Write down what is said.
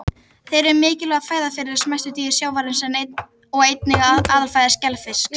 Þeir eru mikilvæg fæða fyrir smæstu dýr sjávarins og einnig aðalfæða skelfisks.